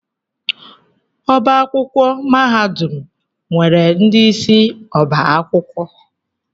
Ọbá akwụkwọ mahadum nwere ndị isi ọ́bà akwụkwọ.